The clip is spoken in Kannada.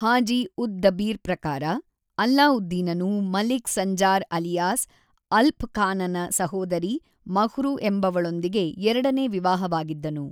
ಹಾಜಿ-ಉದ್-ದಬೀರ್ ಪ್ರಕಾರ, ಅಲ್ಲಾವುದ್ದೀನನು ಮಲಿಕ್ ಸಂಜಾರ್ ಅಲಿಯಾಸ್ ಅಲ್ಪ್ ಖಾನನ ಸಹೋದರಿ ಮಹ್ರು ಎಂಬವಳೊಂದಿಗೆ ಎರಡನೇ ವಿವಾಹವಾಗಿದ್ದನು.